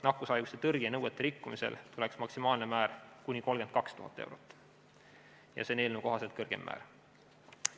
Nakkushaiguste tõrje nõuete rikkumisel oleks maksimaalne määr kuni 32 000 eurot ja see on eelnõu kohaselt kõrgeim määr.